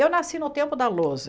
Eu nasci no tempo da lousa.